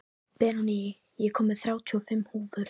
Benóný, ég kom með þrjátíu og fimm húfur!